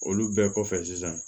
Olu bɛɛ kɔfɛ sisan